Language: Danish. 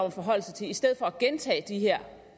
at forholde sig til i stedet for at gentage de her